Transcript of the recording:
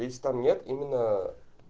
если там нет именно